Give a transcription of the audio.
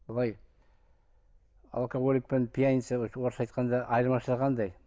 былай алкоголик пен пьяница орысша айтқанда айырмашылығы қандай